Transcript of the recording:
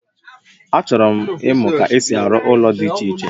Achọrọ m imụ ka esi a ru ụlọ di iche iche